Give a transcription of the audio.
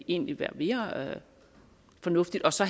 egentlig være mere fornuftigt og så